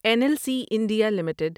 N L C India limited